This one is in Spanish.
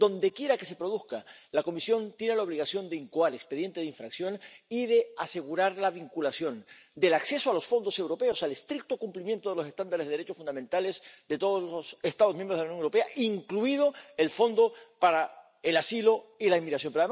Dondequiera que se produzca, la Comisión tiene la obligación de incoar expediente de infracción y de asegurar la vinculación del acceso a los fondos europeos al estricto cumplimiento de los estándares de derechos fundamentales de todos los Estados miembros de la Unión Europea, incluido el Fondo de Asilo, Migración e Integración.